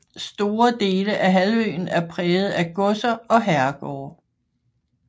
Store dele af halvøen er præget af godser og herregårde